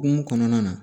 Hokumu kɔnɔna na